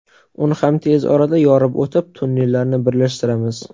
Uni ham tez orada yorib o‘tib, tunnellarni birlashtiramiz”.